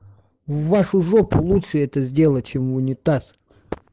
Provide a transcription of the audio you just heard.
в вашу жопу лучше это сделать чем в унитаз